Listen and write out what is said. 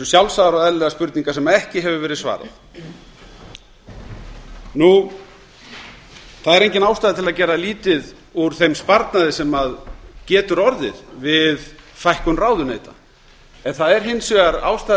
sjálfsagðar og eðlilegar spurningar sem ekki hefur verið svarað það er engin ástæða til að gera lítið úr þeim sparnaði sem getur orðið við fækkun ráðuneyta en það er hins vegar ástæða